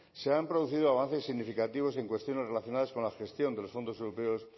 se han producido avances significativos en cuestiones relacionadas con la gestión de los fondos europeos